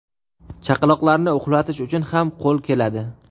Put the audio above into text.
Chaqaloqlarni uxlatish uchun ham qo‘l keladi.